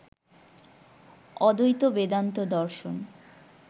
অদ্বৈত বেদান্ত দর্শন